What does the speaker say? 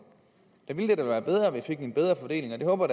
der ville det da være bedre at vi fik en bedre fordeling og det håber